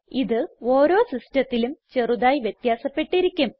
ഇത് ഓരോ സിസ്റ്റത്തിലും ചെറുതായി വ്യത്യാസപ്പെട്ടിരിക്കും